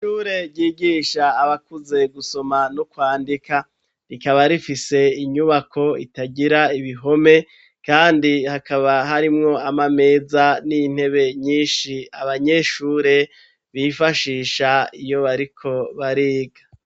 Ishure ryigisha abakuze gusoma no kwandika rikaba rifise inyubako itagira ibihome kandi hakaba harimwo amameza n'intebe nyinshi abanyeshure bifashisha iyo bariko bariga.